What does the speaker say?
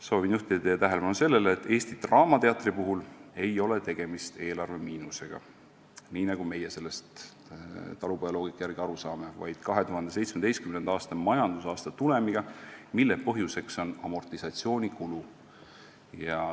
Soovin juhtida teie tähelepanu sellele, et Eesti Draamateatris ei ole tegemist eelarvemiinusega, nii nagu meie sellest talupojaloogika järgi aru saame, vaid 2017. aasta majandusaasta tulemiga, mille põhjuseks on amortisatsioonikulu.